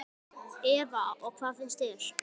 Eva: Og hvað finnst þér?